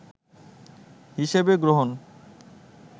হিসেবে গ্রহণ